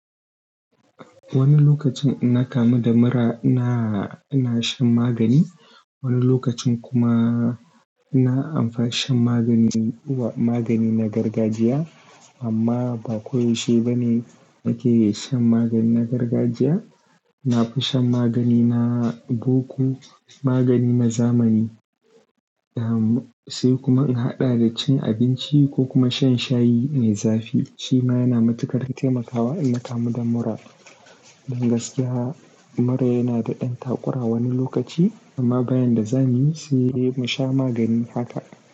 Wani lokacin inna kamu da mura ina, ina shan magani. Wani lokacin kuma ina amfani shan magani uwa magani na gargajiya amma ba koyaushe ba ne nake iya shan magani na gargajiya. Na fi shan magani na boko magani na zamani. Sai kuma in haɗa da cin abinci ko kuma shan shayi mai zafi shi ma yana matuƙar taimakawa ina kamu da mura. Don gaskiya mura yana da ɗan takura wani lokaci amma bayan da za mu yi sai mu sha magani haka.